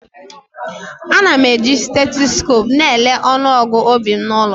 Ana m eji steetesikopu na-elele ọnụọgụ obi m n'ụlọ.